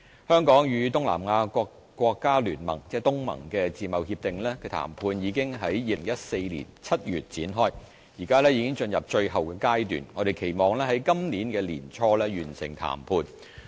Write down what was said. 香港與東南亞國家聯盟的自貿協定談判已於2014年7月展開，現已進入最後階段，我們期望於今年年初完成談判。